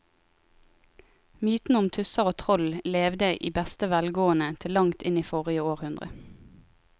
Mytene om tusser og troll levde i beste velgående til langt inn i forrige århundre.